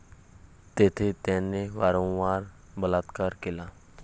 तेथे त्याने वारंवार बलात्कार केला.